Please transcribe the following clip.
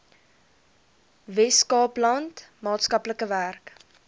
weskaapland maatskaplike werk